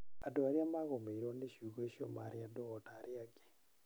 Andũ arĩa maagũmĩirũo nĩ ciugo icio maarĩ andũ o ta arĩa angĩ.